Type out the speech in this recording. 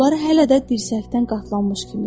Qolları hələ də dirsəkdən qatlanmış kimi idi.